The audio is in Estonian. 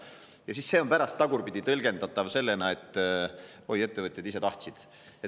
Ja see on siis pärast tagurpidi tõlgendatav, et oi, ettevõtjad ise tahtsid.